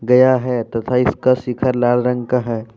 गया है तथा इसका शिखर लाल रंग का है।